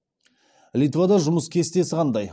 литвада жұмыс кестесі қандай